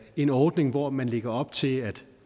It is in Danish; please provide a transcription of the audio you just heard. en ordning hvor man lægger op til at